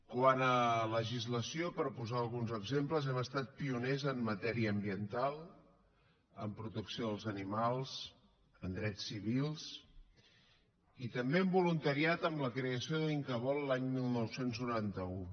quant a legislació per posar alguns exemples hem estat pioners en matèria ambiental en protecció dels animals en drets civils i també en voluntariat amb la creació de l’incavol l’any dinou noranta u